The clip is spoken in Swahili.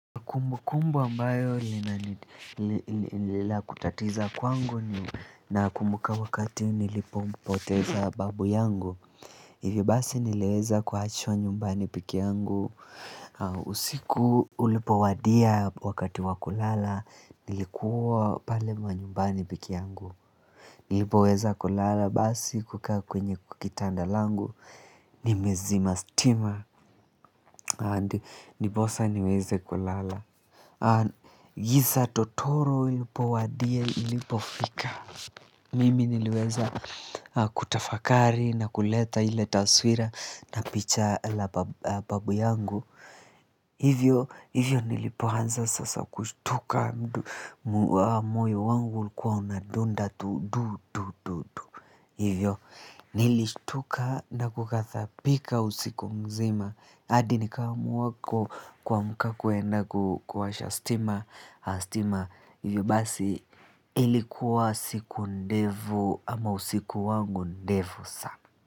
Kumbukumbu ambayo linaendelea kutatiza kwangu ni nakumbuka wakati nilipompoteza babu yangu hivi basi niliweza kuachwa nyumbani peke yangu usiku ulipowadia wakati wa kulala nilikuwa pale mwa nyumbani pike yangu. Nilipoweza kulala basi kukaa kwenye kwa kitanda langu nimezima stima and ndiposa niweze kulala. Giza totoro ilipowadia ilipofika mimi niliweza kutafakari na kuleta ile taswira na picha la babu yangu hivyo nilipoanza sasa kushtuka mdu moyo wangu ulikuwa unadunda tu du du du du hivyo nilishtuka na kughathabika usiku mzima hadi nikaamuako kuamka kuenda kuwasha stima, stima hivyo basi ilikuwa siku ndefu ama usiku wangu ndefu sana.